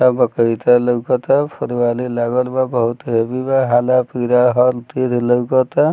सब बकरी त लोकोत फुलवारी लागल बा बहुत हैवी बा हला-पीला हल तीद लोकता।